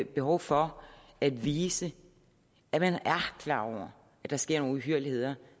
behov for at vise at man er klar over at der sker nogle uhyrligheder